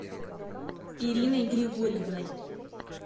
ириной григорьевной